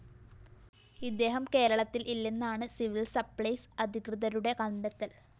ഇദ്ദേഹം കേരളത്തില്‍ ഇല്ലെന്നാണ് സിവില്‍സപ്ലൈസ് അധികൃതരുടെ കണ്ടെത്തല്‍